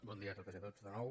bon dia a totes i a tots de nou